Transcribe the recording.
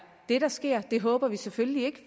det der sker det håber vi selvfølgelig ikke